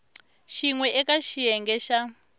xin we eka xiyenge xa